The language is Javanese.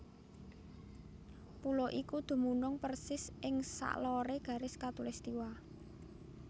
Pulo iku dumunung persis ing saloré garis katulistiwa